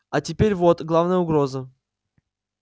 а теперь вот главная угроза